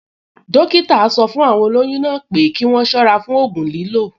Dọ́kítà sọ fún àwọn olóyún náà pé kí wọ́n ṣọ́ra fún ògùn lílò